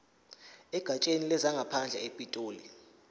egatsheni lezangaphandle epitoli